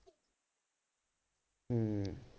ਹਮ